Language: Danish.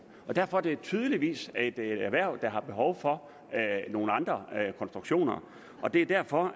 og derfor er det tydeligvis et erhverv der har behov for nogle andre konstruktioner det er derfor